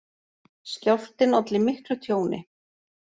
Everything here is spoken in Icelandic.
Skjálftinn olli miklu tjóni